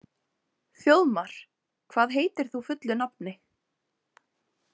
Þjóðmar, hvað heitir þú fullu nafni?